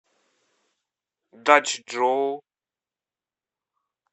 дачжоу